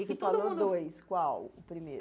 E todo mundo tu falou dois, qual o primeiro?